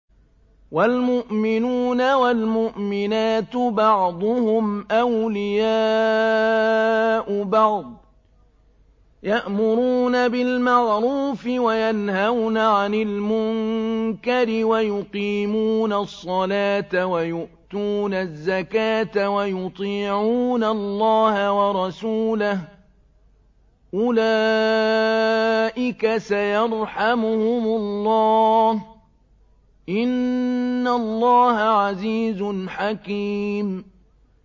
وَالْمُؤْمِنُونَ وَالْمُؤْمِنَاتُ بَعْضُهُمْ أَوْلِيَاءُ بَعْضٍ ۚ يَأْمُرُونَ بِالْمَعْرُوفِ وَيَنْهَوْنَ عَنِ الْمُنكَرِ وَيُقِيمُونَ الصَّلَاةَ وَيُؤْتُونَ الزَّكَاةَ وَيُطِيعُونَ اللَّهَ وَرَسُولَهُ ۚ أُولَٰئِكَ سَيَرْحَمُهُمُ اللَّهُ ۗ إِنَّ اللَّهَ عَزِيزٌ حَكِيمٌ